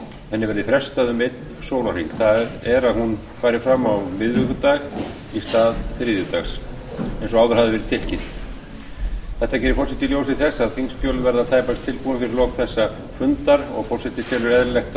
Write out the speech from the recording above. verði frestað um ein sólarhring það er að hún fari fram á miðvikudag í stað þriðjudags eins og áður hafði verið tilkynnt þetta gerir forseti í ljósi þess að þingskjöl verða tæpast tilbúin fyrir lok þessa fundar og forseti telur eðlilegt að